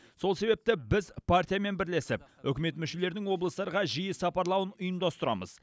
сол себепті біз партиямен бірлесіп үкімет мүшелерінің облыстарға жиі сапарлауын ұйымдастырамыз